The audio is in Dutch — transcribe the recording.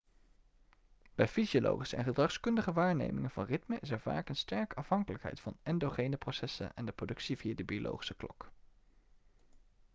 bij fysiologische en gedragskundige waarnemingen van ritmen is er vaak een sterke afhankelijkheid van endogene processen en de productie via de biologische klok